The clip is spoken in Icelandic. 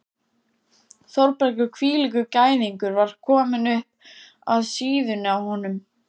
Þórbergur hvílíkur gæðingur var kominn upp að síðunni á honum?